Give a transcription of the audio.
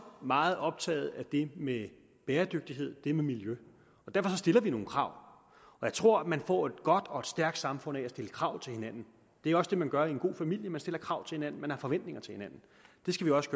meget optaget af det med bæredygtighed det med miljø derfor stiller vi nogle krav og jeg tror man får et godt og stærkt samfund af at stille krav til hinanden det er også det man gør i en god familie man stiller krav til hinanden man har forventninger til hinanden det skal vi også